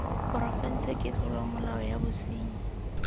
porofense ke tlolomolao ya bosenyi